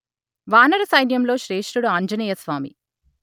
వానర సైన్యంలో శ్రేష్ఠుడు ఆంజనేయస్వామి